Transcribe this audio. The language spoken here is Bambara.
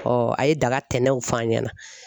a ye daga tɛnɛnw f'a ɲɛna